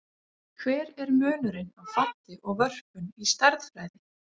Hver er munurinn á falli og vörpun í stærðfræði?